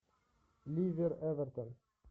ливер эвертон